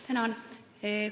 Tänan!